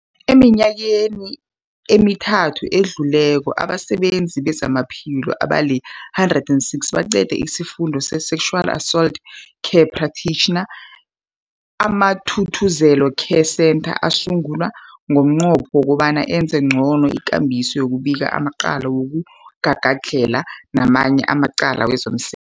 Eminyakeni emithathu edluleko, abasebenzi bezamaphilo abali-106 baqede isiFundo se-Sexual Assault Care Practitioner. AmaThuthuzela Care Centres asungulwa ngomnqopho wokobana enze ngcono ikambiso yokubika amacala wokugagadlhela namanye amacala wezomse